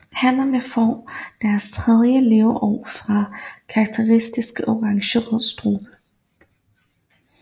Hannerne får fra deres tredje leveår en karakteristisk orangerød strube